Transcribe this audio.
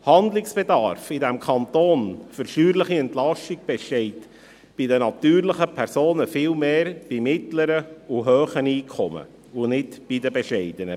Handlungsbedarf besteht in diesem Kanton für steuerliche Entlastung bei den natürlichen Personen viel mehr bei mittleren und hohen Einkommen und nicht bei den bescheidenen.